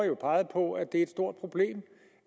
jo peget på at det er et stort problem